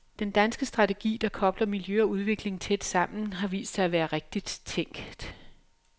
Den danske strategi, der kobler miljø og udvikling tæt sammen, har vist sig at være rigtigt tænkt.